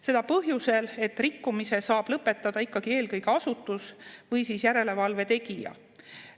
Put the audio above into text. Seda põhjusel, et rikkumise saab lõpetada ikkagi eelkõige asutus või järelevalve tegija.